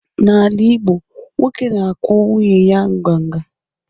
n’ala Igbo, nwoke na-akwụ nwunye ya nganga